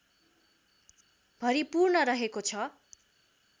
भरिपूर्ण रहेको छ